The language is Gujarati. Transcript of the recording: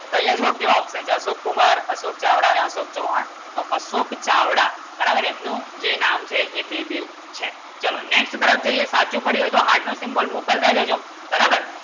કેવો Option જતો અશોક કુમાર અશોક ચાવડા ને અશોક ચવ્હાણ તો અશોક ચાવડા બરાબર એમનું જે નામ છે એ બે દિલ છે ચલો Next તરફ જોઈએ સાચું પડી હોય તો Heart નું Symbol મોકલતા તો જો